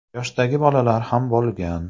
yoshdagi bolalar ham bo‘lgan.